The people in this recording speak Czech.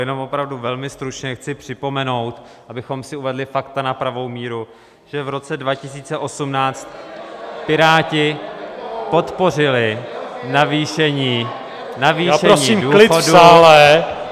Jenom opravdu velmi stručně chci připomenout, abychom si uvedli fakta na pravou míru, že v roce 2018 Piráti podpořili navýšení důchodů -